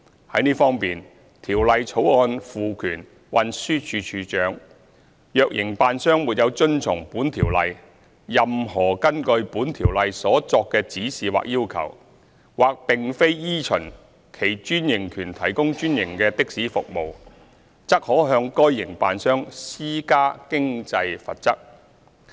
在這方面，《條例草案》賦權運輸署署長，若營辦商沒有遵從本條例、任何根據本條例所作的指示或要求，或並非依循其專營權提供專營的士服務，則可向該營辦商施加經濟罰則。